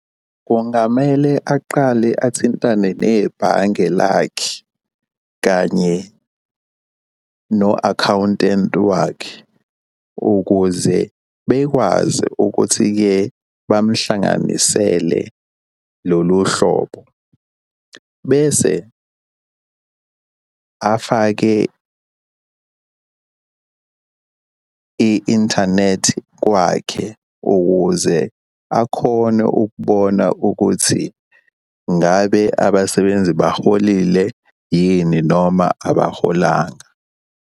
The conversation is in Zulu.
Kungamele aqale athintane nebhange lakhe kanye no-akhawuntenti wakhe, ukuze bekwazi ukuthi-ke bamhlanganisele lolu hlobo, bese afake i-inthanethi kwakhe ukuze akhone ukubona ukuthi ngabe abasebenzi baholile yini noma abaholanga.